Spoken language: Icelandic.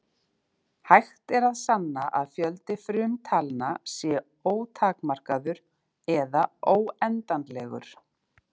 Hægt er að sanna að fjöldi frumtalna sé ótakmarkaður eða óendanlegur.